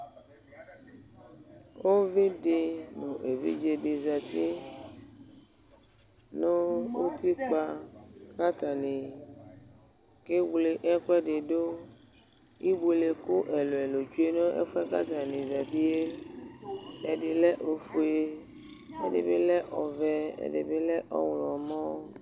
Uvi dɩ nʋ evidze dɩ zǝtɩ nʋ utikpǝ, kʋ atanɩ kewle ɛkʋ ɛdɩ dʋ Ibuelekʋ ɛlʋ ɛlʋ tsʋe nʋ ɛfʋ yɛ kʋ atanɩ azǝtɩ yɛ Ɛdɩ lɛ ofue kʋ ɛdɩ bɩ lɛ ɔvɛ, ɛdɩ bɩ lɛ ɔɣlɔmɔ